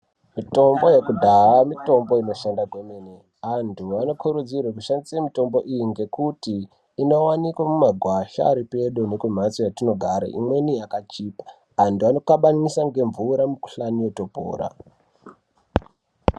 Mitombo yekudhaa mitombo inoshanda kwemene. Antu anokurudzirwe kushandise mitombo iyi ngekuti inowanikwe mumagwasha aripedo nekumhatso yatinogara, imweni yakachipa. Anhu anokabanisa ngemvura mikuhlani yotopora.